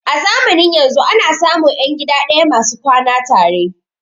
A zamanin yanzun ana samun ƴan gida ɗaya masu kwana tare